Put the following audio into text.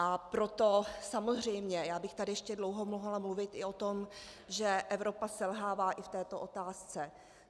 A proto samozřejmě, já bych tady ještě dlouho mohla mluvit i o tom, že Evropa selhává i v této otázce.